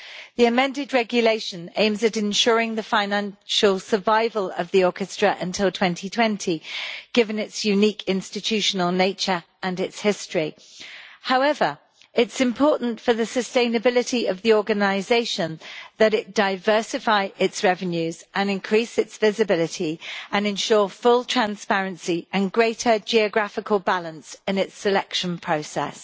The amended regulation aims at ensuring the financial survival of the orchestra until 2020, given its unique institutional nature and its history. However, it is important for the sustainability of the organisation that it diversify its revenues and increase its visibility and ensure full transparency and greater geographical balance in its selection process.